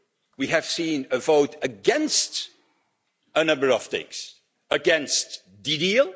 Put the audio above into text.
We have seen a vote against a number of things against the deal